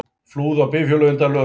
Flúðu á bifhjóli undan lögreglu